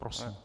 Prosím.